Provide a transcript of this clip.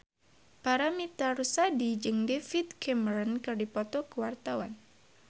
Paramitha Rusady jeung David Cameron keur dipoto ku wartawan